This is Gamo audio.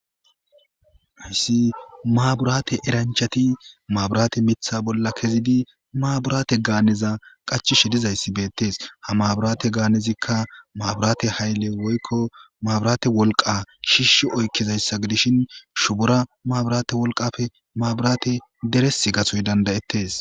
ayssi maaburaate eranchati maaburaate mitha bolla kezidi maaburaate gaaneza qachishe dizayssi beettes ha maaburate gaanezikka maaburaate haylle woykko maaburaate wolqa shiishi oykkizayssa gidishin shubura maaburaate wolqafe maaburaate deres gasoy dandayettes